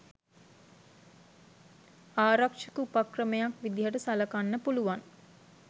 ආරක්ෂක උපක්‍රමයක් විදියට සලකන්න පුළුවන්.